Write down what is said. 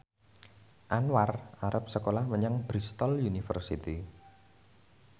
Anwar arep sekolah menyang Bristol university